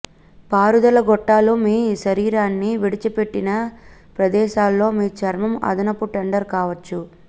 పారుదల గొట్టాలు మీ శరీరాన్ని విడిచిపెట్టిన ప్రదేశాల్లో మీ చర్మం అదనపు టెండర్ కావచ్చు